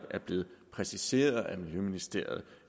er blevet præciseret af miljøministeriet